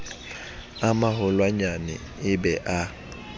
a maholwanyane e be a